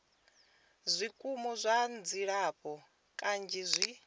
zwikimu zwa dzilafho kanzhi zwi